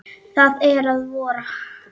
Það er að vora!